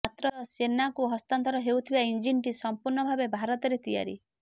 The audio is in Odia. ମାତ୍ର ସେନାକୁ ହସ୍ତାନ୍ତର ହୋଇଥିବା ଇଂଜିନ୍ଟି ସଂପୂର୍ଣ୍ଣ ଭାବେ ଭାରତରେ ତିଆରି